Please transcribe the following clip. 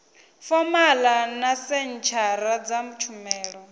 fomala na senthara dza tshumelo